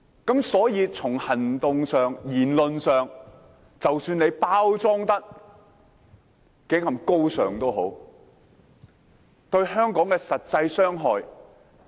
因此，從行動和言論上，即使他們包裝得如何高尚，但有否對香港帶來任何實際傷害？